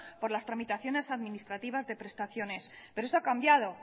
por las tramitaciones administrativas de prestaciones pero esto ha cambiado